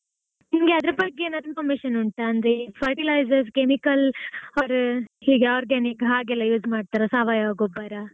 ನಿನಗೆ ಅದ್ರ ಬಗ್ಗೆ ಏನಾದ್ರೂ information ಉಂಟಾ? ಅಂದ್ರೆ fertilizer chemical or~ organic ಹಾಗೆಲ್ಲ use ಮಾಡ್ತಾರಾ ಸಾವಯವ ಗೊಬ್ಬರ?